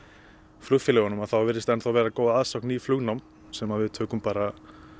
flugfélögunum þá virðist vera góð aðsókn í flugnám sem að við tökum bara